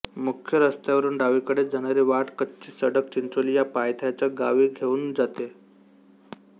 मुख्य रस्त्यावरून डावीकडे जाणारी वाट कच्ची सडक चिंचोली या पयथ्याच्या गावी घेऊन जाते